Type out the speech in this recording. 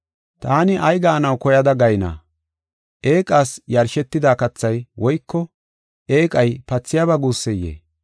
Taani ay gaanaw koyada gayna? Eeqas yarshetida kathay woyko eeqay pathiyaba guusseyee?